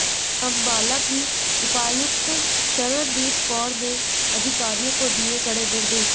अंबाला की उपायुक्त शरणदीप कौर ने अधिकारियों को दिए कडे़ निर्देश